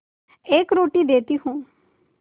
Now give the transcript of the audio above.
एक रोटी देती हूँ